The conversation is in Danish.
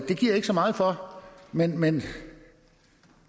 ikke så meget for men men